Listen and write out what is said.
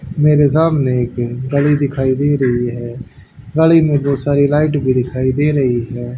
मेरे सामने एक गली दिखाई दे रही है गली में बहुत सारी लाइट भी दिखाई दे रही है।